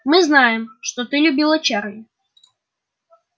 мы знаем что ты любила чарли